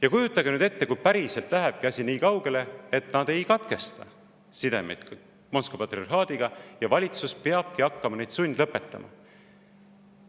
Ja kujutage nüüd ette, kui päriselt lähebki asi nii kaugele, et nad ei katkesta sidemeid Moskva patriarhaadiga ja valitsus peabki hakkama neid sundlõpetama.